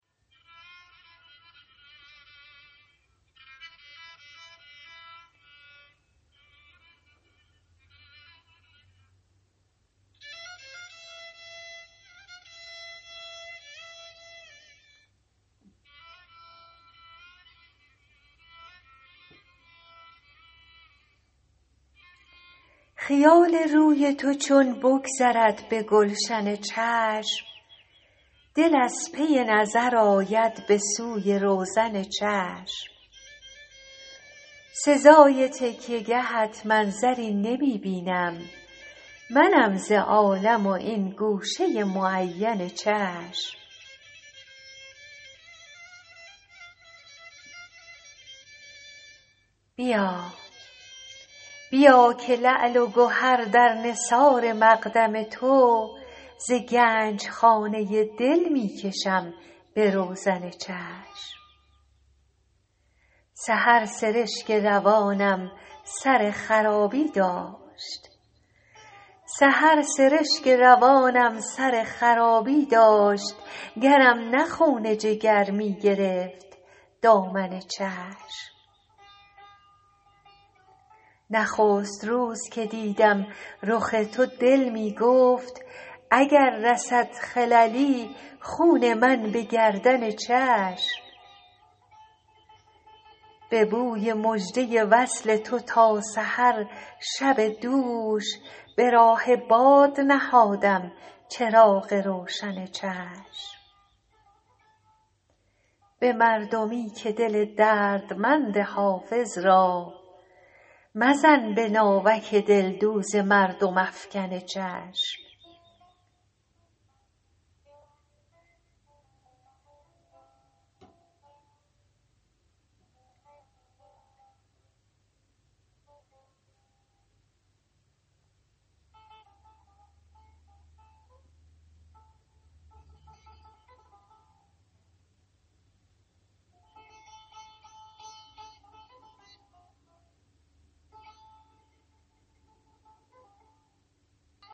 خیال روی تو چون بگذرد به گلشن چشم دل از پی نظر آید به سوی روزن چشم سزای تکیه گهت منظری نمی بینم منم ز عالم و این گوشه معین چشم بیا که لعل و گهر در نثار مقدم تو ز گنج خانه دل می کشم به روزن چشم سحر سرشک روانم سر خرابی داشت گرم نه خون جگر می گرفت دامن چشم نخست روز که دیدم رخ تو دل می گفت اگر رسد خللی خون من به گردن چشم به بوی مژده وصل تو تا سحر شب دوش به راه باد نهادم چراغ روشن چشم به مردمی که دل دردمند حافظ را مزن به ناوک دلدوز مردم افکن چشم